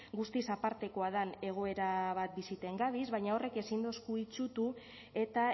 guztiz apartekoa dan egoera bat biziten gabiz baina horrek ezin dosku itsutu eta